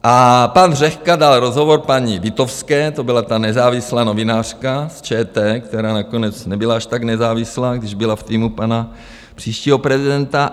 A pan Řehka dal rozhovor paní Witowské, to byla ta nezávislá novinářka z ČT, která nakonec nebyla až tak nezávislá, když byla v týmu pana příštího prezidenta.